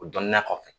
O dɔnniya kɔfɛ